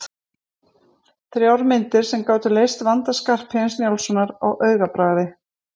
Þrjár myndir sem gátu leyst vanda Skarphéðins Njálssonar á augabragði.